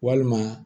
Walima